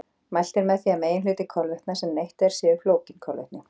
Mælt er með því að meginhluti kolvetna sem neytt er séu flókin kolvetni.